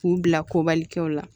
K'u bila kobalikɛw la